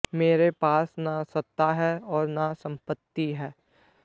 मेरे पास न सत्ता है और न सम्पत्ति है